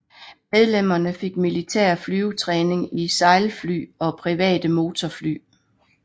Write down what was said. Medlemmerne fik militær flyvetræning i sejlfly og private motorfly